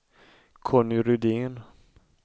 Conny Rydén